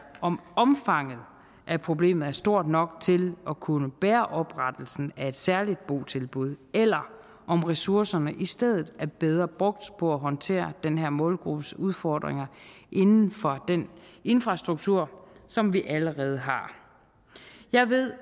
om omfanget af problemet er stort nok til at kunne bære oprettelsen af et særligt botilbud eller om ressourcerne i stedet er bedre brugt på at håndtere den her målgruppes udfordringer inden for den infrastruktur som vi allerede har jeg ved